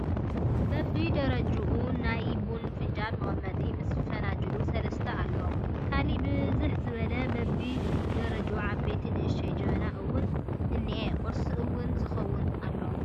በቢ ደረጅኡ ናይ ቡና ፍንጃል መቀመጢ ምስ ፈናጅሉ ሰለስተ ኣሎ ካልእ ብዝሕ ዝበለ በቢ ደረጅኡ ዓብይን ንእሽተይን ጀበናታት እውን እኒኤ ቁርሲ ቡን ዝከውን ኣሎ።